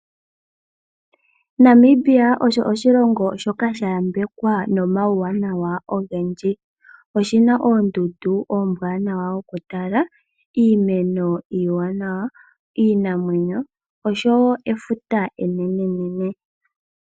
Namibia osho oshilongo shoka shayambekwa nomauwanawa ogendji . Oshina oondundu oombwanawa okutala , iimeno iiwanawa, iinamwenyo oshowoo efuta enenenene.